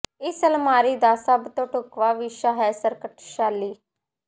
ਇਸ ਅਲਮਾਰੀ ਦਾ ਸਭ ਤੋਂ ਢੁਕਵਾਂ ਵਿਸ਼ਾ ਹੈ ਸਕਰਟ ਸ਼ੈਲੀ